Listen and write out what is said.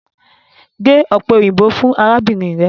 Ge ope oyinbo fun arabinrin rẹ!